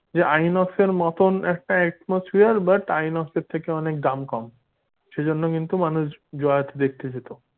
যে আইনক্সের মতন একটা atmosphere but আইনক্সের থেকে দাম কম সে জন্য কিন্তু মানুষ জয়াতে দেখতে যেত।